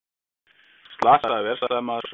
Slasaður vélsleðamaður sóttur